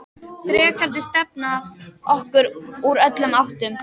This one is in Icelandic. Drekarnir stefna að okkur úr öllum áttum.